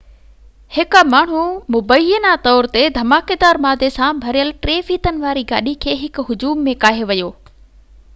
هڪ ماڻهو مبينا طور تي ڌماڪيدار مادي سان ڀريل ٽي ڦيٿن واري گاڏي کي هڪ هجوم ۾ ڪاهي ويو